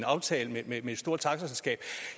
aftale med et stort taxaselskab